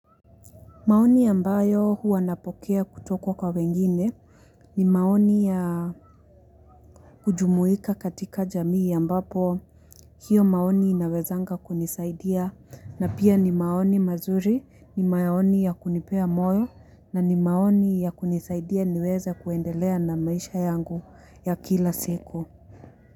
Maoni ambayo huwa napokea kutoka kwa wengine ni maoni ya kujumuika katika jamii ambapo hiyo maoni inawezanga kunisaidia na pia ni maoni mazuri ni maoni ya kunipea moyo na ni maoni ya kunisaidia niweza kuendelea na maisha yangu ya kila siku.